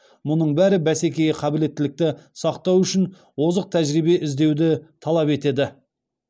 мұның бәрі бәсекеге қабілеттілікті сақтау үшін озық тәжірибе іздеуді талап етеді